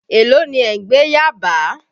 Èló ni ẹ̀ ń gbé Yábàá?.